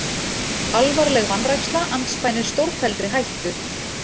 Alvarleg vanræksla andspænis stórfelldri hættu